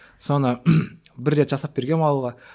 соны бір рет жасап бергенмін ауылға